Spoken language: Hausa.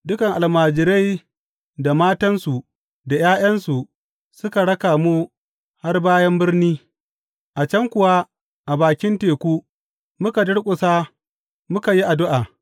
Dukan almajirai da matansu da ’ya’yansu suka raka mu har bayan birni, a can kuwa a bakin teku muka durƙusa muka yi addu’a.